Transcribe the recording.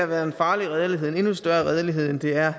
været en farlig redelighed en endnu større redelighed end det er